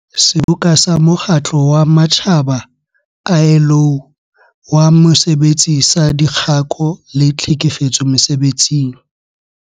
Seboka sa Mokgatlo wa Matjhaba, ILO, wa Mosebetsi saDikgako le Tlhekefetso Mese-betsing.